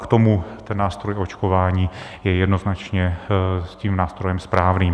K tomu ten nástroj k očkování je jednoznačně tím nástrojem správným.